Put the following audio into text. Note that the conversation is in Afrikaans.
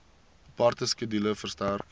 aparte skedule verstrek